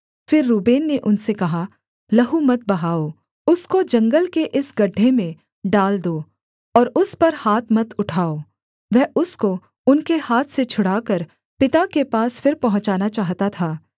फिर रूबेन ने उनसे कहा लहू मत बहाओ उसको जंगल के इस गड्ढे में डाल दो और उस पर हाथ मत उठाओ वह उसको उनके हाथ से छुड़ाकर पिता के पास फिर पहुँचाना चाहता था